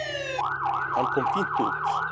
Hann kom fínt út.